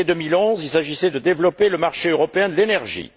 En février 2011, il s'agissait de développer le marché européen de l'énergie.